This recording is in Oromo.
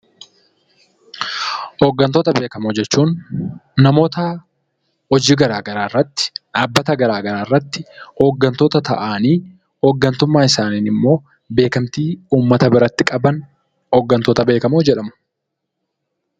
Hooggantoota beekamoo jechuun, namoota hojii garaagaraa irratti dhaabbata garaagaraa irratti hooggantoota ta'anii, hooggantummaa isaaniin immoo uummata biratti beekamtii qaban hooggantoota beekamoo jedhamu.